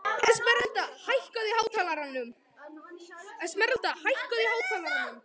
Esmeralda, hækkaðu í hátalaranum.